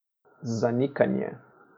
Zanikanje.